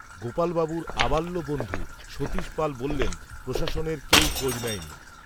গোপালবাবুর, আবাল্য বন্ধু, সতীশ পাল বললেন, প্রশাসনের, কেউ খোঁজ নেয়নি